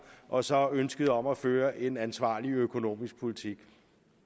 og så ønsket om at føre en ansvarlig økonomisk politik